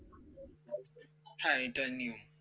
হ্যাঁ এটাই নিয়ম